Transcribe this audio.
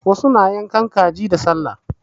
Wasu na yankan kaji da sallah.